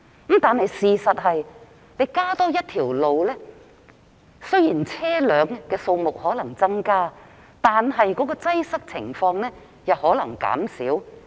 不過，事實是，雖然開設新的道路/隧道或會促使車輛的數目增加，但擠塞情況可能會減少。